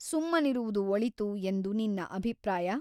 ಸುಮ್ಮನಿರುವುದು ಒಳಿತು ಎಂದು ನಿನ್ನ ಅಭಿಪ್ರಾಯ ?